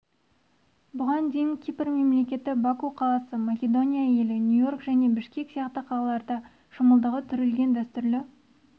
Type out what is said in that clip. бұған дейін кипр мемлекеті баку қаласы македония елі нью-иорк және бішкек сияқты қалаларда шымылдығы түрілген дәстүрлі